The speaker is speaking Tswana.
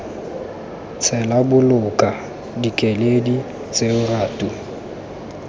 tshela boloka dikeledi tseo ratu